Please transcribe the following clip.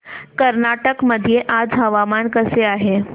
कर्नाटक मध्ये आज हवामान कसे आहे